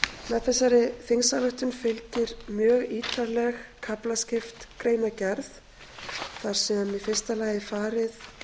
með þessari þingsályktun fylgir mjög ítarleg kaflaskipt greinargerð þar sem í fyrsta lagi er farið